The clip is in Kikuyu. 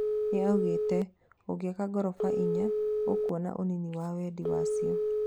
Nĩoigĩte "ũngĩaka ngorofa inya, ũkwona ũnini wa wendi wacio"